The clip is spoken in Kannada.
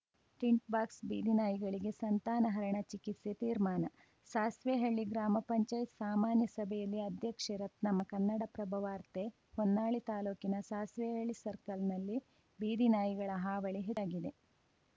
ಟಿಂಟ್‌ ಬಾಕ್ಸ್‌ ಬೀದಿನಾಯಿಗಳಿಗೆ ಸಂತಾನಹರಣ ಚಿಕಿತ್ಸೆ ತೀರ್ಮಾನ ಸಾಸ್ವೆಹಳ್ಳಿ ಗ್ರಾಮ ಪಂಚಾಯತ್ ಸಾಮಾನ್ಯ ಸಭೆಯಲ್ಲಿ ಅಧ್ಯಕ್ಷೆ ರತ್ನಮ್ಮ ಕನ್ನಡಪ್ರಭ ವಾರ್ತೆ ಹೊನ್ನಾಳಿ ತಾಲೂಕಿನ ಸಾಸ್ವೆಹಳ್ಳಿ ಸರ್ಕಲ್‌ನಲ್ಲಿ ಬೀದಿನಾಯಿಗಳ ಹಾವಳಿ ಹೆಚ್ಚಾಗಿದೆ